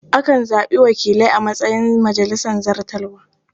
Akan zaɓi wakilai a matsayin majalisar zartarwa.